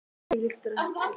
Þvílíkt dekur.